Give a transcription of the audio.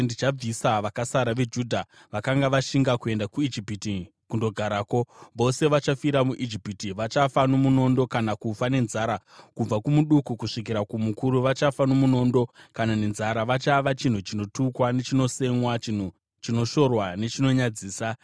Ndichabvisa vakasara veJudha vakanga vashinga kuenda kuIjipiti kundogarako. Vose vachafira muIjipiti, vachafa nomunondo kana kufa nenzara. Kubva kumuduku kusvikira kumukuru, vachafa nomunondo kana nenzara. Vachava chinhu chinotukwa nechinosemwa, chinhu chinoshorwa nechinonyadzisa.